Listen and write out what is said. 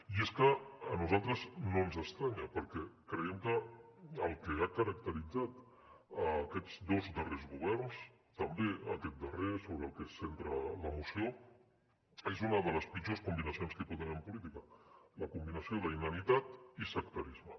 i és que a nosaltres no ens estranya perquè creiem que el que ha caracteritzat aquests dos darrers governs també aquest darrer sobre el que se centra la moció és una de les pitjors combinacions que hi pot haver en política la combinació d’inanitat i sectarisme